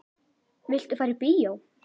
Viltu fara í bíó?